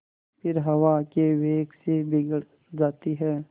फिर हवा के वेग से बिगड़ जाती हैं